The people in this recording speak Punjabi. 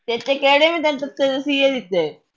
ਤੇਰੇ ਤੇ ਕਿਹੜੇ ਮੈ ਦਿਨ ਤਸੀਹੇ ਦਿੱਤੇ